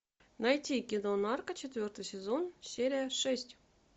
найти кино нарко четвертый сезон серия шесть